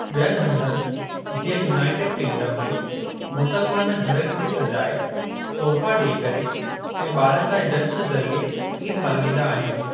ॿियनि हंधनि जीअं, यूनाइटेड किंगडम में मुसलमान घरनि खे सजाए, तोहफा ॾेई करे ऐं ॿारनि लाइ जश्‍न ज़रिए ईद मल्हाईंदा आहिनि।